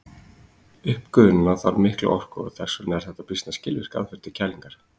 Uppgufunin þarf mikla orku og þess vegna er þetta býsna skilvirk aðferð til kælingar.